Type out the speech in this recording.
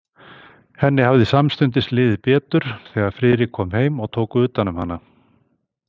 Henni hafði samstundis liðið betur, þegar Friðrik kom heim og tók utan um hana.